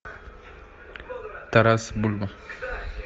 тарас бульба